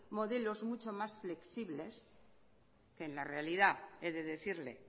modelos mucho más flexibles en la realidad he de decirle